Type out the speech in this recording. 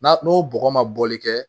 N'a n'o bɔgɔ ma bɔli kɛ